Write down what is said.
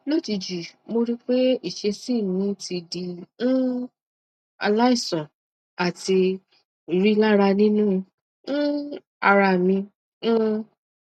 lojiji mo ri pe iṣesi mi ti di um alaisan ati rilara ninu um ara mi um